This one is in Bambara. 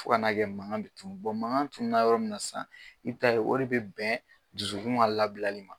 Fo ka n'a kɛ makan tunnu mankan tunnu na yɔrɔ minna sisan i bɛ t'a ye o de bɛ bɛn dusukun ka labilali ma.